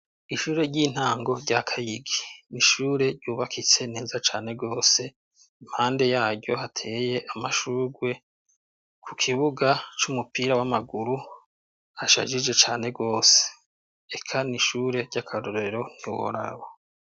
Ishure ry'intango rya Kayigi. Ni ishure ryubakitse neza cane gose, impande yaryo hateye amashurwe, ku kibuga c'umupira w'amaguru, hashajije cane gose. Eka ni ishure ry'akarorero ntiworaba.